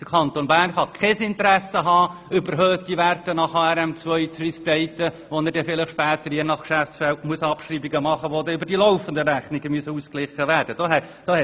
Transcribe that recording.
Der Kanton Bern kann kein Interesse daran haben, überhöhte Werte nach HRM2 zu restaten, wenn er später je nach Geschäftsfeld Abschreibungen machen muss, die dann über die laufenden Rechnungen ausgeglichen werden müssen.